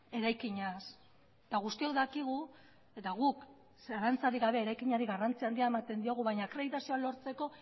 eraikinaz eta guztiok dakigu eta guk zalantzarik gabe eraikinari garrantzia handia ematen diogu baina akreditazioa lortzeko